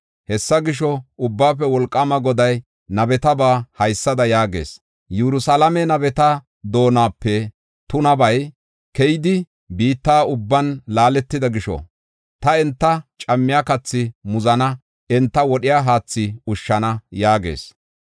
Hessa gisho, Ubbaafe Wolqaama Goday nabetaba haysada yaagees: “Yerusalaame nabeta doonape tunabay keyidi, biitta ubban laaletida gisho, ta enta cammiya kathi muzana; enta wodhiya haathi ushshana” yaagees.